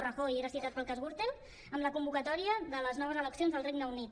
rajoy era citat pel cas gürtel amb la convocatòria de les noves eleccions al regne unit